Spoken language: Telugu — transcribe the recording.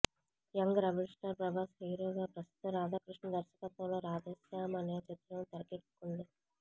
యంగ్ రెబల్ స్టార్ ప్రభాస్ హీరోగా ప్రస్తుతం రాధాకృష్ణ దర్శకత్వంలో రాధేశ్యామ్ అనే చిత్రం తెరకెక్కుతుంది